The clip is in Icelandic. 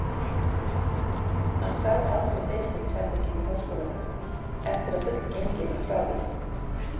Hann sá aldrei Benedikts-herbergið í háskólanum, eftir að fullgengið var frá því.